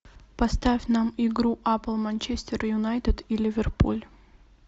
поставь нам игру апл манчестер юнайтед и ливерпуль